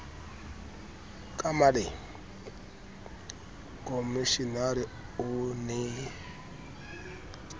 ka maleng komishenara o ne